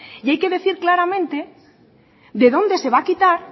y hay que decir claramente de dónde se va a quitar